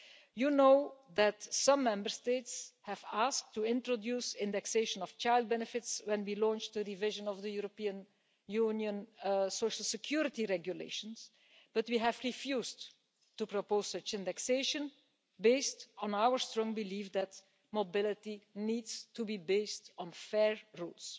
You know that some Member States asked to introduce indexation of child benefits when we launched a revision of the European Union social security regulations. But we refused to propose such indexation, based on our strong belief that mobility needs to be based on fair rules.